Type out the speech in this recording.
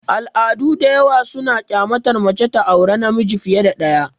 Al'adu da yawa suna kyamatar mace ta aure namiji fiye da ɗaya.